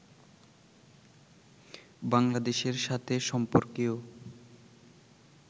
বাংলাদেশের সাথে সম্পর্কেও